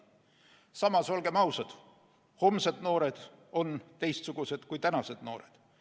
Samas, olgem ausad, homsed noored on teistsugused kui tänased noored.